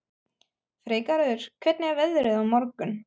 Freygarður, hvernig er veðrið á morgun?